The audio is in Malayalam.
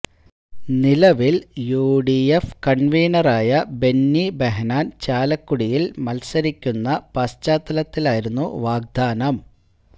നിലവില് യുഡിഎഫ് കണ്വീനായ ബെന്നി ബഹനാന് ചാലക്കുടിയില് മത്സരിക്കുന്ന പശ്ചത്താലായിരുന്നു വാഗ്ദാനം